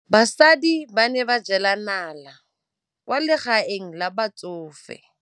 Basadi ba ne ba jela nala kwaa legaeng la batsofe.